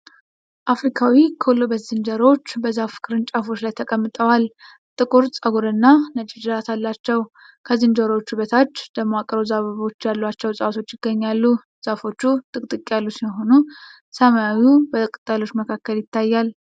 አፍሪካዊ ኮሎበስ ዝንጀሮዎች በዛፍ ቅርንጫፎች ላይ ተቀምጠዋል። ጥቁር ፀጉርና ነጭ ጅራት አላቸው። ከዝንጀሮዎቹ በታች ደማቅ ሮዝ አበቦች ያሏቸው እጽዋት ይገኛሉ። ዛፎቹ ጥቅጥቅ ያሉ ሲሆኑ ሰማዩ በቅጠሎቹ መካከል ይታያል።